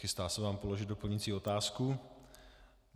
Chystá se vám položit doplňující otázku.